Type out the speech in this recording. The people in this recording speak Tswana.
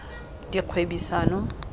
dikgwebisano